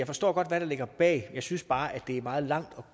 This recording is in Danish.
forstår hvad der ligger bag jeg synes bare det er meget langt at